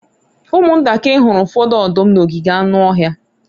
ụmụntakịrị hụrụ ụfọdụ ọdụm n'ogige anụ ọhịa